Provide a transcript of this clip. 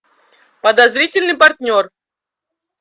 подозрительный партнер